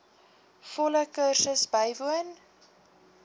volle kursus bywoon